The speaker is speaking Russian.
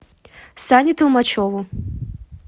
сане толмачеву